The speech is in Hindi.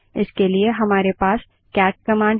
इसके लिए हमारे पास कैट कमांड है